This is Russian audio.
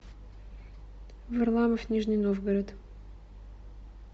варламов нижний новгород